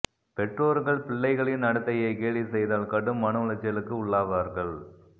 பெற்றோர்கள் பிள்ளைகளின் நடத்தையை கேலி செய்தால் கடும் மன உளைச்சலுக்கு உள்ளாவார்கள்